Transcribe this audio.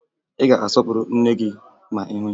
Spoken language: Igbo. Ị ga-asọpụrụ nne gị ma ị hụ ya